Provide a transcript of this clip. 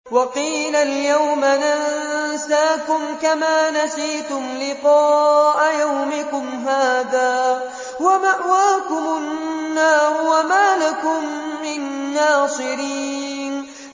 وَقِيلَ الْيَوْمَ نَنسَاكُمْ كَمَا نَسِيتُمْ لِقَاءَ يَوْمِكُمْ هَٰذَا وَمَأْوَاكُمُ النَّارُ وَمَا لَكُم مِّن نَّاصِرِينَ